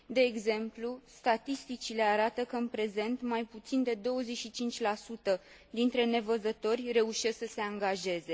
De exemplu, statisticile arată că, în prezent, mai puțin de 25 dintre nevăzători reușesc să se angajeze.